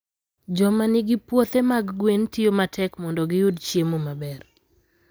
Joma nigi puothe mag gwen tiyo matek mondo giyud chiemo maber.